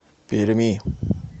перми